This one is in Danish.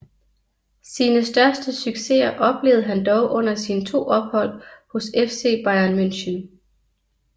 Sine største succeser oplevede han dog under sine to ophold hos FC Bayern München